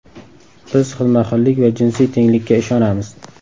Biz xilma-xillik va jinsiy tenglikka ishonamiz”.